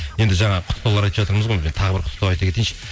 енді жаңа құттықтаулар айтып жатырмыз ғой тағы бір құттықтау айта кетейінші